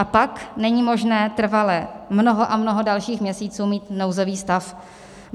A pak, není možné trvale, mnoho a mnoho dalších měsíců, mít nouzový stav.